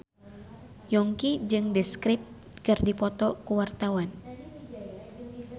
Yongki jeung The Script keur dipoto ku wartawan